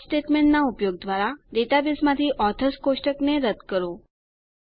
drop સ્ટેટમેંટનાં ઉપયોગ દ્વારા ડેટાબેઝમાંથી ઓથર્સ કોષ્ટકને રદ કરો